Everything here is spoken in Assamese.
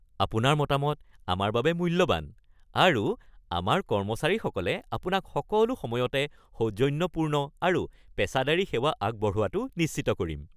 আপোনাৰ মতামত আমাৰ বাবে মূল্যৱান, আৰু আমাৰ কৰ্মচাৰীসকলে আপোনাক সকলো সময়তে সৌজন্যপূৰ্ণ আৰু পেছাদাৰী সেৱা আগবঢ়োৱাটো নিশ্চিত কৰিম।